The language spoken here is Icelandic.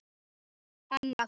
Annað orð datt honum ekki í hug.